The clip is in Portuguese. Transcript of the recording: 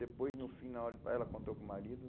Depois, no final, ela contou para o marido.